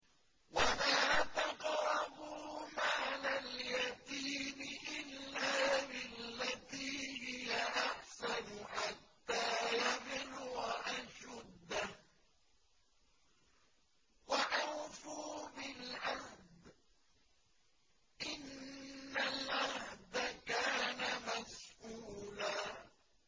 وَلَا تَقْرَبُوا مَالَ الْيَتِيمِ إِلَّا بِالَّتِي هِيَ أَحْسَنُ حَتَّىٰ يَبْلُغَ أَشُدَّهُ ۚ وَأَوْفُوا بِالْعَهْدِ ۖ إِنَّ الْعَهْدَ كَانَ مَسْئُولًا